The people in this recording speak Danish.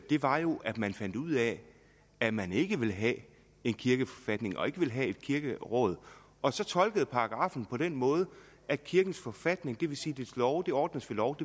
det var jo at man fandt ud af at man ikke ville have en kirkeforfatning og ikke ville have et kirkeråd og så tolkede paragraffen på den måde at kirkens forfatning det vil sige dens love ordnes ved lov